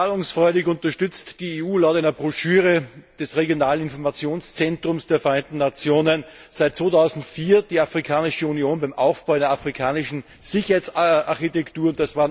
Zahlungsfreudig unterstützt die EU laut einer Broschüre des Regionalinformationszentrums der Vereinten Nationen seit 2004 die Afrikanische Union beim Aufbau einer afrikanischen Sicherheitsarchitektur.